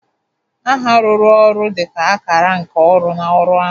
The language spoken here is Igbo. Aha rụrụ oru dị ka akara nke ọrụ na ọrụ ọha.